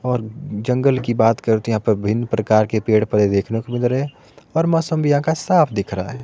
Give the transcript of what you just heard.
और जंगल की बात करते हैं यहा पर भिन्न प्रकार के पेड़ पर देखने को मिल रहे हैं और मौसम भी यहां का साफ दिख रहा है।